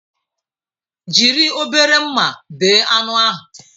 Jiri obere mma bee anụ ahụ!